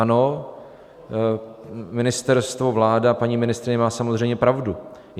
Ano, ministerstvo, vláda, paní ministryně má samozřejmě pravdu.